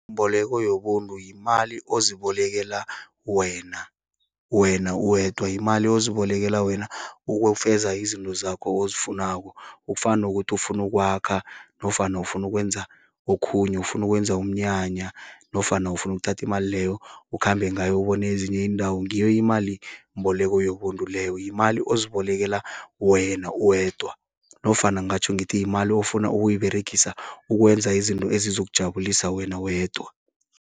Imboleko yobuntu yimali ozibolekela wena, wena uwedwa. Yimali ozibolekala wena ukufeza izinto zakho ozifunako. Kufana nokuthi, ufuna ukwakha, nofana ufuna ukwenza okhunye, ufuna ukwenza umnyanya. Nofana ufuna ukuthathi imali leyo ukhambe ngayo, ubone ezinye iindawo. Ngiyo imalimboleko yobuntu leyo, yimali ozibolekala wena uwedwa. Nofana ngatjho ngithi, yimali ufuna ukuyiberegisa ukwenza izinto ezizokujabulisa wena wedwa.